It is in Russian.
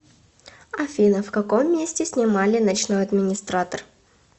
афина в каком месте снимали ночной администратор